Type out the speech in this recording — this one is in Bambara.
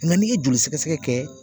Nka n'i ye joli sɛgɛsɛgɛ kɛ